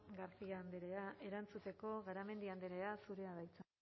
garcia andrea erantzuteko garamendi andrea zurea da hitza